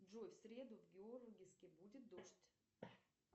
джой в среду в георгиевске будет дождь